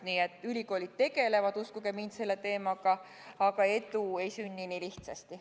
Nii et ülikoolid tegelevad selle teemaga, uskuge mind, aga edu ei sünni nii lihtsasti.